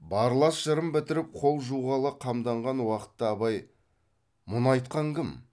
барлас жырын бітіріп қол жуғалы қамданған уақытта абай мұны айтқан кім